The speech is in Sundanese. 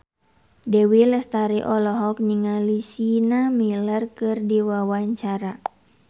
Dewi Lestari olohok ningali Sienna Miller keur diwawancara